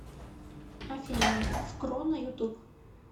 афина скро на ютуб